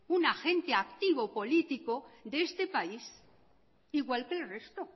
un agente activo político de este país igual que el resto